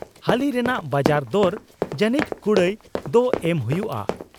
ᱦᱟᱹᱞᱤ ᱨᱮᱱᱟᱜ ᱵᱟᱡᱟᱨ ᱫᱚᱨ ᱡᱟᱹᱱᱤᱡ ᱠᱩᱲᱟᱹᱭ ᱫᱚ ᱮᱢ ᱦᱩᱭᱩᱜᱼᱟ ᱾